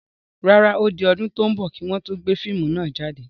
Rárá, ó di ọdún tò ń bọ̀ kii wọn to gbé fíìmù náà jáde.